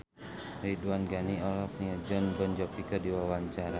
Ridwan Ghani olohok ningali Jon Bon Jovi keur diwawancara